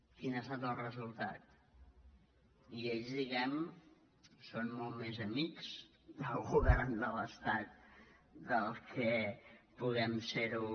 quin ha estat el resul·tat i ells diguem·ne són molt més amics del govern de l’estat del que puguem ser·ho